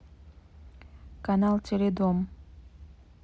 канал теледом